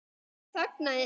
Hann þagnaði en